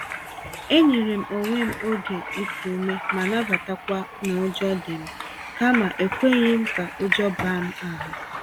E nyerem onwe m oge iku ume ma nabatakwa n'ụjọ dịm, kama ekweghịm ka ụjọ baa m ahụ